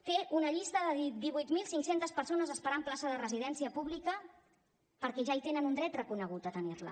té una llista de divuit mil cinc cents persones esperant plaça de residència pública perquè ja hi tenen un dret reconegut a tenir la